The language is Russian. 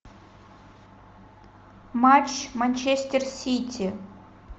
матч манчестер сити